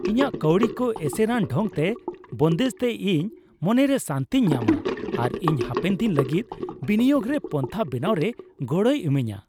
ᱤᱧᱟᱹᱜ ᱠᱟᱹᱣᱰᱤ ᱠᱚ ᱮᱥᱮᱨᱟᱱ ᱰᱷᱚᱝᱛᱮ ᱵᱚᱱᱫᱮᱡ ᱛᱮ ᱤᱧ ᱢᱚᱱᱨᱮ ᱥᱟᱹᱱᱛᱤᱧ ᱧᱟᱢᱟ ᱟᱨ ᱤᱧ ᱦᱟᱯᱮᱱ ᱫᱤᱱ ᱞᱟᱹᱜᱤᱫ ᱵᱤᱱᱤᱭᱳᱜᱽ ᱨᱮ ᱯᱚᱱᱛᱷᱟ ᱵᱮᱱᱟᱣ ᱨᱮ ᱜᱚᱲᱚᱭ ᱤᱢᱟᱹᱧᱟ ᱾